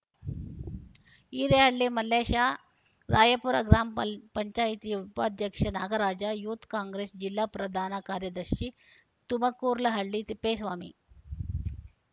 ಹಿರೇಹಳ್ಳಿ ಮಲ್ಲೇಶ ರಾಯಾಪುರ ಗ್ರಾಂ ಪಾಲ್ ಗ್ರಾಮ ಪಂಚಾಯತ್ ಉಪಾಧ್ಯಕ್ಷ ನಾಗರಾಜ ಯೂತ್‌ ಕಾಂಗ್ರೆಸ್‌ ಜಿಲ್ಲಾ ಪ್ರಧಾನ ಕಾರ್ಯದರ್ಶಿ ತುಮಕೂರ್ಲಹಳ್ಳಿ ತಿಪ್ಪೇಸ್ವಾಮಿ